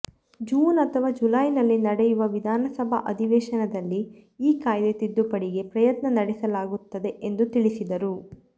June ಅಥವಾ ಜುಲೈನಲ್ಲಿ ನಡೆಯುವ ವಿಧಾನಸಭಾ ಅಧಿವೇಶನದಲ್ಲಿ ಈ ಕಾಯ್ದೆ ತಿದ್ದುಪಡಿಗೆ ಪ್ರಯತ್ನ ನಡೆಸಲಾಗುತ್ತದೆ ಎಂದು ತಿಳಿಸಿದರು